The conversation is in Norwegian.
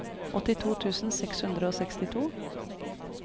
åttito tusen seks hundre og sekstito